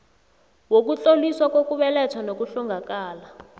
wokutloliswa kokubelethwa nokuhlongakala